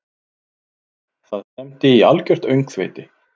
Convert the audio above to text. Það stefndi í algjört öngþveiti.